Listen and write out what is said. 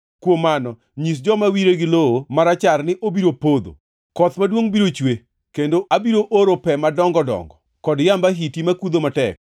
kuom mano, nyis joma wire gi lowo marachar ni obiro podho. Koth maduongʼ biro chue, kendo abiro oro pe madongo dongo, kod yamb ahiti makudho matek.